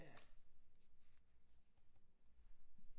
Ja